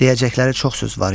Deyəcəkləri çox söz var idi.